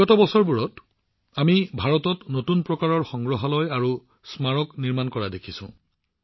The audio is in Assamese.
যোৱা বছৰবোৰতো আমি ভাৰতত নতুন প্ৰকাৰৰ সংগ্ৰহালয় আৰু স্মাৰক স্থাপন হোৱা দেখিছো